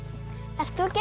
ert þú ekki